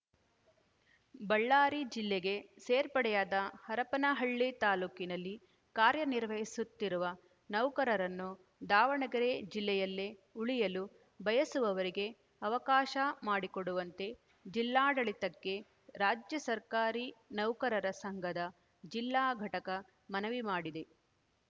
ಬಳ್ಳಾರಿ ಜಿಲ್ಲೆಗೆ ಸೇರ್ಪಡೆಯಾದ ಹರಪನಹಳ್ಳಿ ತಾಲೂಕಿನಲ್ಲಿ ಕಾರ್ಯ ನಿರ್ವಹಿಸುತ್ತಿರುವ ನೌಕರರನ್ನು ದಾವಣಗೆರೆ ಜಿಲ್ಲೆಯಲ್ಲೇ ಉಳಿಯಲು ಬಯಸುವವರಿಗೆ ಅವಕಾಶ ಮಾಡಿಕೊಡುವಂತೆ ಜಿಲ್ಲಾಡಳಿತಕ್ಕೆ ರಾಜ್ಯ ಸರ್ಕಾರಿ ನೌಕರರ ಸಂಘದ ಜಿಲ್ಲಾ ಘಟಕ ಮನವಿ ಮಾಡಿದೆ